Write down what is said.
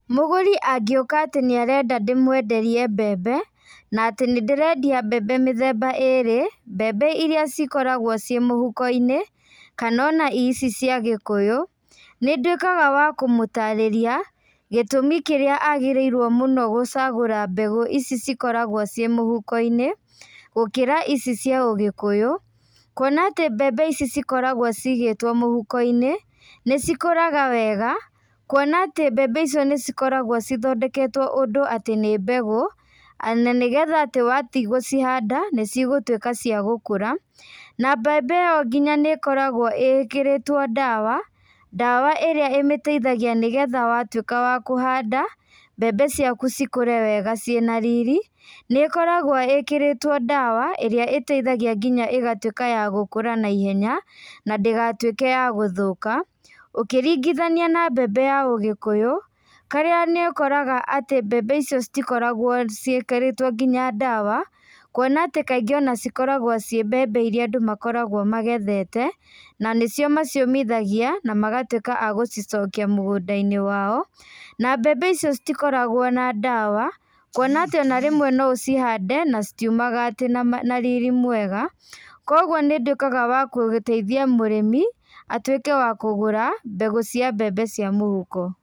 Mũgũrĩ angĩũka atĩ nĩarenda ndĩmwenderie mbembe, na atĩ nĩndĩrendia mbembe mĩthemaba ĩrĩ, mbembe iria cikoragwo ciĩ mũhukoinĩ, kana ona ici cia gĩkũyũ, nĩndũĩkaga wa kũmũtarĩria, gĩtũmi kĩrĩa agĩrĩirwo mũno gũcagũra mbegũ ici cikoragwo ciĩ mũhukoinĩ, gũkĩra ici cia ũgĩkũyũ, kuona atĩ mbembe ici cikoragwo cigĩtwo mũhukoinĩ, nĩcikũraga wega, kuona atĩ mbembe icio nĩcikoragwo cithondeketwo ũndũ atĩ nĩ mbegũ, na nĩgetha atĩ wathiĩ gũcihanda, nĩcigũtuĩka cia gũkũra, na mbembe ĩyo nginya nĩkoragwo ĩkĩrĩtwo ndawa, ndawa ĩrĩa ĩmĩteithagia nĩgetha watuĩka wa kũhanda, mbembe ciaku cikũre wega ciĩna riri. Nĩkoragwo ĩkĩrĩtwo ndawa, ĩrĩa iteithagia nginya ĩgatuĩka ya gũkũra na ihenya, na ndĩgatuĩke ya gũthũka, ũkĩringithania na mbembe ya ũgĩkũyũ, harĩa nĩ ũkoraga atĩ mbembe icio citikoragwo ciĩkĩrĩtwo nginya ndawa, kuona atĩ kaingĩ ona cikoragwo ciĩ mbembe iria andũ makoragwo magethete, na nĩcio maciũmithagia, na magatuĩka a gũcicokia mũgũndainĩ wao, na mbembe icio citikoragwo na ndawa, kuona atĩ ona rĩmwe no ũcihande, na citiumaga atĩ na riri mwega, koguo nĩnduĩkaga wa gũteithia mũrĩmi, atuĩke wa kũgũra, mbegũ cia mbembe cia mũhuko.